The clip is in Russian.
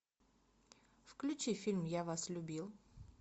включи фильм я вас любил